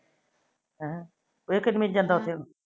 ਇਹ ਕਿਨਮੀ ਚ ਜਾਦਾ ਉਥੇ ਹੁਣ?